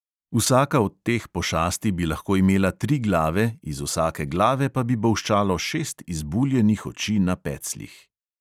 Vsaka od teh pošasti bi lahko imela tri glave, iz vsake glave pa bi bolščalo šest izbuljenih oči na pecljih.